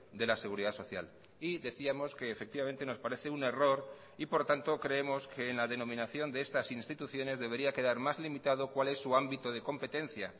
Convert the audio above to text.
de la seguridad social y decíamos que efectivamente nos parece un error y por tanto creemos que en la denominación de estas instituciones debería quedar más limitado cual es su ámbito de competencia